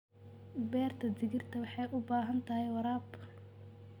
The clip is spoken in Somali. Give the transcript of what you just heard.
Beerta digirta waxay u baahan tahay waraab.